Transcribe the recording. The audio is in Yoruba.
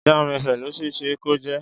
Jamz FM ló ṣe é ṣe kó jẹ́.